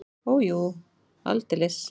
Og jú, aldeilis!